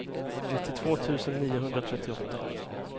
nittiotvå tusen niohundratrettioåtta